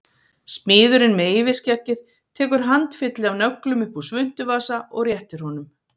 Smiðurinn með yfirskeggið tekur handfylli af nöglum upp úr svuntuvasa og réttir honum